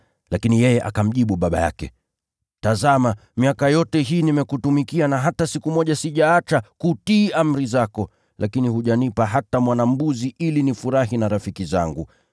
Lakini yeye akamjibu baba yake, ‘Tazama! Miaka yote hii nimekutumikia na hata siku moja sijaacha kutii amri zako, lakini hujanipa hata mwana-mbuzi ili nifurahi na rafiki zangu.